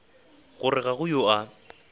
gore ga go yo a